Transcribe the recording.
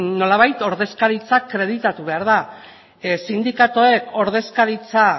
nolabait ordezkaritza akreditatu behar da sindikatuek ordezkaritza